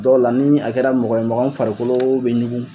Dɔw la ni a kɛra mɔgɔ ye mɔgɔ min farikolo bɛ ɲugun.